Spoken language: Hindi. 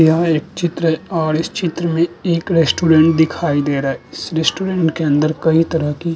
यह एक चित्र है और इस चित्र में एक रेस्टोरेंट दिखाई दे रहा है इस रेस्टोरेंट के अंदर कई तरह की --